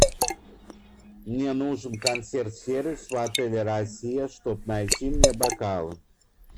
мне нужен консьерж сервис в отеле россия чтоб найти мне бокал